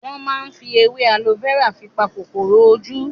Wọn máa ń fi èwe alo fẹ́rà fi pa kòkòrò ojú